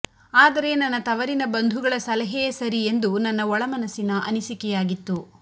ಆದರೆ ನನ್ನ ತವರಿನ ಬಂಧುಗಳ ಸಲಹೆಯೇ ಸರಿ ಎಂದು ನನ್ನ ಒಳ ಮನಸಿನ ಅನಿಸಿಕೆಯಾಗಿತ್ತು